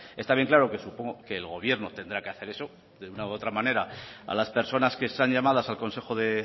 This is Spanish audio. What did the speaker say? está bien claro que supongo que el gobierno tendrá que hacer eso de una u otra materia a las personas que están llamadas al consejo